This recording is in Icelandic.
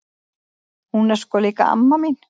Hún er sko líka amma mín!